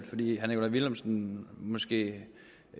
fordi herre nikolaj villumsen måske